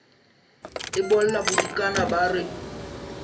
e bolla bodikana ba re